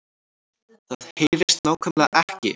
Það HEYRIST NÁKVÆMLEGA EKKI